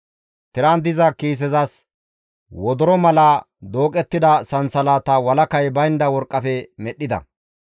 Tiran diza kiisezas wodoro mala dooqettida sansalataa walakay baynda worqqafe medhdhida.